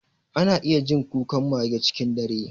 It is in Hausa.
Ana iya jin kukan mage cikin dare.